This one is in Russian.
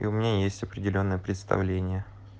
и у меня есть определённое представление